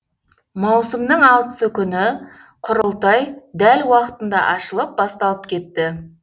маусымның алтысы күні құрылтай дәл уақытында ашылып басталып кетті